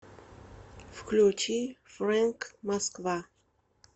включи фрэнк москва